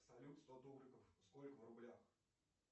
салют сто тугриков сколько в рублях